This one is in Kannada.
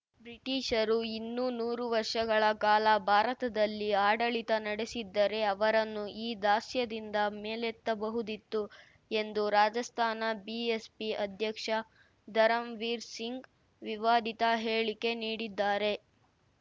ಬ್ರಿಟಿಷರು ಇನ್ನೂ ನೂರು ವರ್ಷಗಳ ಕಾಲ ಭಾರತದಲ್ಲಿ ಆಡಳಿತ ನಡೆಸಿದ್ದರೆ ಅವರನ್ನು ಈ ದಾಸ್ಯದಿಂದ ಮೇಲೆತ್ತಬಹುದಿತ್ತು ಎಂದು ರಾಜಸ್ಥಾನ ಬಿಎಸ್‌ಪಿ ಅಧ್ಯಕ್ಷ ಧರಂವೀರ್‌ ಸಿಂಗ್‌ ವಿವಾದಿತ ಹೇಳಿಕೆ ನೀಡಿದ್ದಾರೆ